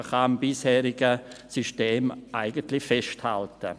Man kann am bisherigen System eigentlich festhalten.